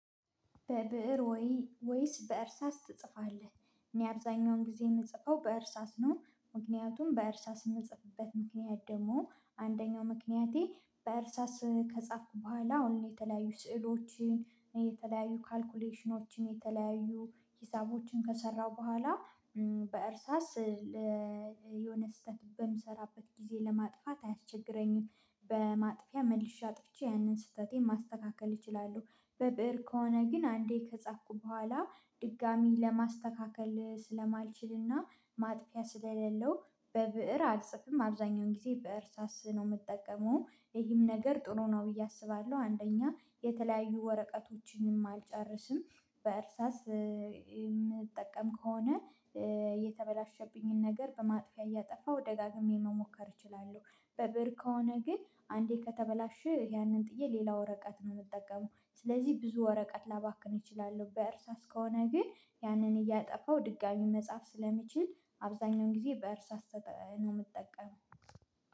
"በብእር ወይ ወይስ በእርሳስ ትጽፋለህ?" እኔ አብዛኛውን ጊዜ የምጽፈው በእርሳስ ነው። ምክንያቱም በእርሳ የምጽፍበት ምክንያት ደግሞ አንደኛው ምክንያቴ በእርሳስ ከጻፍኩ በኋላ አሁን የተለያዩ ስዕሎችን የተለያዩ ካልኩሌሽኖችን የተለያዩ ሂሳቦችን ከሰራሁ በኋላ በእርሳስ የሆነ ስህተት በምሰራበት ጊዜ ለማጥፋት አያስቸግረኝም። በማጥፊያ መልሼ አጥፍቼ ያንን ስህተቴን ማስተካከል እችላለሁ። በብእር ከሆነ ግን አንዴ ከጻፍኩ በኋላ ድጋሚ ለማስተካከል ስለማልችልና ማጥፊያ ስለሌለው፤ በብእር አልጽፍም አብዛኛውን ጊዜ ብእር ሳስህ ነው የምጠቀመው። ይህም ነገር ጥሩ ነው ብዬ አስባለሁ። አንደኛ የተለያዩ ወረቀቶችንም አልጨርስም። በእርሳስ የምጠቀም ከሆነ የተበላሸብኝን ነገር በማጥፊያ እያጠፋሁ ደጋግሜ መሞከር እችላለሁ። በብር ከሆነ ግን አንዴ ከተበላሸ ያንን ጥዬ ሌላ ወረቀት ነው የምጠቀመው። ስለዚህ ብዙ ወረቀት ላባክን እችላለሁ። በእርሳስ ከሆነ ግን ያንን እያጠፋው ድጋሚ መጻፍ ስለሚችል፤ አብዛኛውን ጊዜ በእርሳስ ተጠ ነው የምጠቀመው።